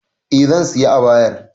Eh zan sayi abayar